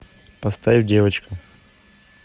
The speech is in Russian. поставь девочка